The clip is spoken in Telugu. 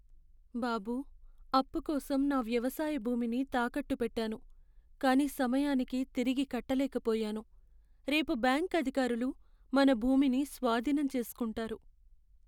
బాబూ, అప్పు కోసం నా వ్యవసాయ భూమిని తాకట్టు పెట్టాను, కానీ సమయానికి తిరిగి కట్టలేకపోయాను. రేపు బ్యాంకు అధికారులు మన భూమిని స్వాధీనం చేసుకుంటారు.